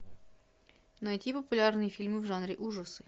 найти популярные фильмы в жанре ужасы